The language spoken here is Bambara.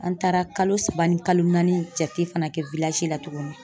An taara kalo saba ni kalo naani jate fana kɛ la tuguni